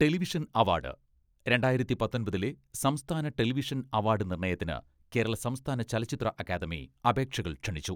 Television award, രണ്ടായിരത്തി പത്തൊമ്പതിലെ സംസ്ഥാന ടെലിവിഷൻ അവാഡ് നിർണ്ണയത്തിന് കേരള സംസ്ഥാന ചലച്ചിത്ര അക്കാദമി അപേക്ഷകൾ ക്ഷണിച്ചു.